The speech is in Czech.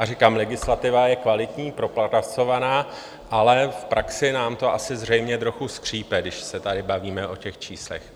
A říkám, legislativa je kvalitní, propracovaná, ale v praxi nám to asi zřejmě trochu skřípe, když se tady bavíme o těch číslech.